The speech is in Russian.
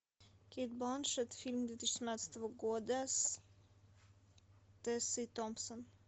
кейт бланшетт фильм две тысячи семнадцатого года с тессой томпсон